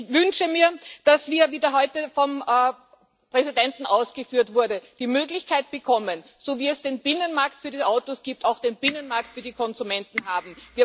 Ich wünsche mir, dass wir wie heute vom Präsidenten ausgeführt wurde die Möglichkeit bekommen, so wie es den Binnenmarkt für die Autos gibt, auch einen Binnenmarkt für Konsumenten zu haben.